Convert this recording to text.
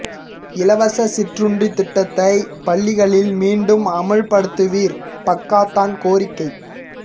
இலவச சிற்றுண்டி திட்டத்தை பள்ளிகளில் மீண்டும் அமல்படுத்துவீர் பக்காத்தான் கோரிக்கை